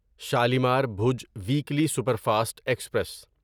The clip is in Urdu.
Shalimar Bhuj weekly superfast express